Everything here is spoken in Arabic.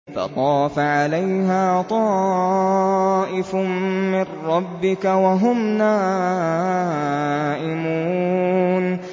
فَطَافَ عَلَيْهَا طَائِفٌ مِّن رَّبِّكَ وَهُمْ نَائِمُونَ